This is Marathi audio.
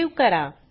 सेव्ह करा